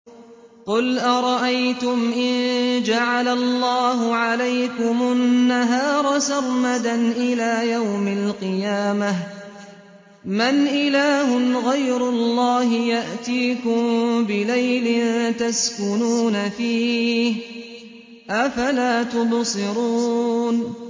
قُلْ أَرَأَيْتُمْ إِن جَعَلَ اللَّهُ عَلَيْكُمُ النَّهَارَ سَرْمَدًا إِلَىٰ يَوْمِ الْقِيَامَةِ مَنْ إِلَٰهٌ غَيْرُ اللَّهِ يَأْتِيكُم بِلَيْلٍ تَسْكُنُونَ فِيهِ ۖ أَفَلَا تُبْصِرُونَ